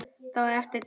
Þá á eftir að teikna.